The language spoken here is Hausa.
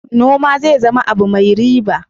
Noma zai zama abu mai riba.